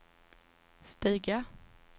stiga